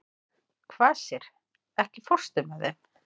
Kvasir, ekki fórstu með þeim?